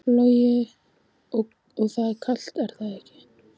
Logi: Og það er kalt er það ekki?